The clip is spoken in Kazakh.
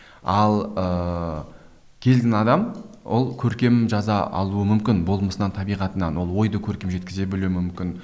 ал ыыы кез келген адам ол көркем жаза алуы мүмкін болмысынан табиғатынан ол ойды көркем жеткізе білуі мүмкін